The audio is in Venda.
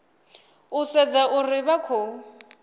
u sedza uri vha khou